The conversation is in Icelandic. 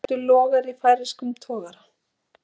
Eldur logar í færeyskum togara